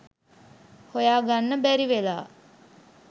හොයා ගන්න බැරි වෙලා..